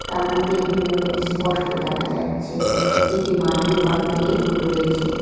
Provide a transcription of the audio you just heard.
তার মধ্যে একটি মোমবাতি স্পষ্ট দেখা যাচ্ছে একটি মাটির পাত্রে রয়েছে।